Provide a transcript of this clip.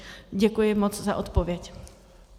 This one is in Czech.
Děkuji moc za odpověď.